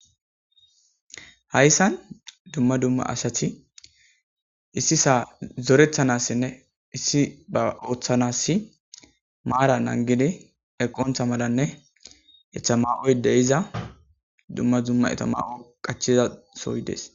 Hays San dumma dumma asati issi saa zorethanassinne issi ba ooththanassi maara nangidi eqontha malanne ethama7oy de iza dumma dumma etamaa7o qachiza soyi dees.